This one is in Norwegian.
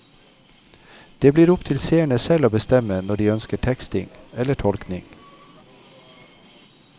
Det blir opp til seerne selv å bestemme når de ønsker teksting eller tolkning.